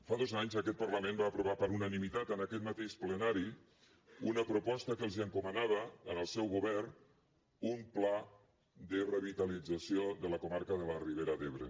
fa dos anys aquest parlament va aprovar per unanimitat en aquest mateix plenari una proposta que encomanava al seu govern un pla de revitalització de la comarca de la ribera d’ebre